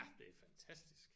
Ja det er fantastisk